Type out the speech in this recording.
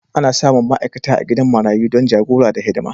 Ana samun ma'aikata a gidan marayu don jagora da hidima.